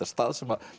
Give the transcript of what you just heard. stað sem að